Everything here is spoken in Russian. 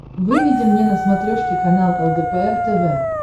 выведи мне на смотрешке канал лдпр тв